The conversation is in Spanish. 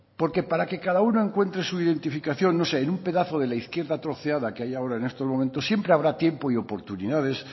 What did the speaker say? porque para que cada uno encuentre su identificación no sé en un pedazo de la izquierda troceada que hay ahora en estos momentos siempre habrá tiempo y oportunidades